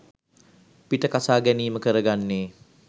පිට කසා ගැනීම කරගන්නේ.